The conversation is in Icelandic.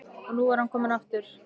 Og nú var hann að koma aftur!